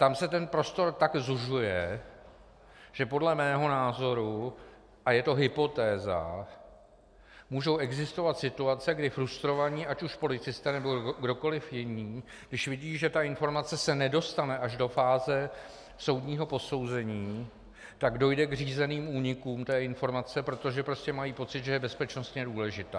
Tam se ten prostor tak zužuje, že podle mého názoru - a je to hypotéza - můžou existovat situace, kdy frustrovaní ať už policisté, nebo kdokoliv jiný, když vidí, že ta informace se nedostane až do fáze soudního posouzení, tak dojde k řízeným únikům té informace, protože prostě mají pocit, že je bezpečnostně důležitá.